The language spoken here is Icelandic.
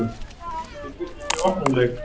Ég býst við mjög opnum leik.